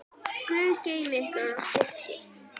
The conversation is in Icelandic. Guð geymi ykkur og styrki.